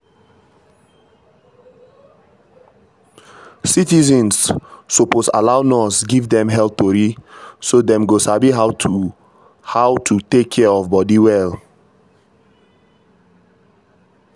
citizens suppose allow nurse give dem health tori so dem go sabi how to how to take care of body well.